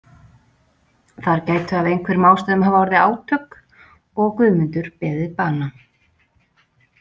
Þar gætu af einhverjum ástæðum hafa orðið átök og Guðmundur beðið bana.